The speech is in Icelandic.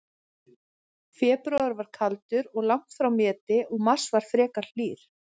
Febrúar var kaldur, en langt frá meti, og mars var frekar hlýr.